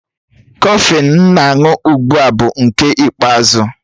Kọfịn m na-aṅụ ugbu a bụ nke ikpeazụ